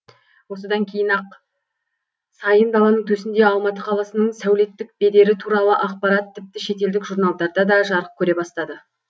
осыдан кейін ақ сайын даланың төсінде алматы қаласының сәулеттік бедері туралы ақпарат тіпті шетелдік журналдарда да жарық көре бастады